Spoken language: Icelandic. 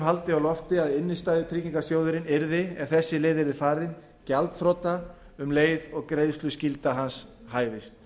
haldið á lofti að innstæðutryggingarsjóðurinn yrði ef þessi leið yrði farin gjaldþrota um leið og greiðsluskylda hans hæfist